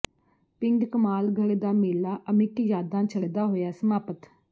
ਪਿੰਡ ਕਮਾਲਗੜ੍ਹ ਦਾ ਮੇਲਾ ਅਮਿੱਟ ਯਾਦਾਂ ਛੱਡਦਾ ਹੋਇਆ ਸਮਾਪਤ